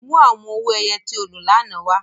Mu awọn owo-ẹyẹ ti o lo lánà wa!